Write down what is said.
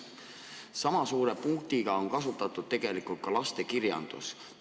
Sama suurt kirja on kasutatud ka lasteraamatutes.